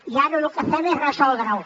i ara lo que fem és resoldre ho